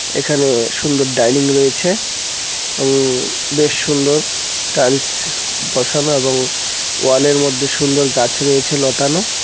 এখানে সুন্দর ডাইনিং রয়েছে উম বেশ সুন্দর টাইলস বসানো এবং ওয়ালের মধ্যে সুন্দর গাছ রয়েছে লতানো।